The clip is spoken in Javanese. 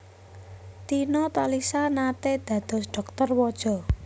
Tina Talisa naté dados dhokter waja